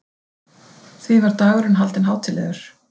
Því var dagurinn haldinn hátíðlegur.